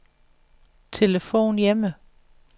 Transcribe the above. telefon hjemme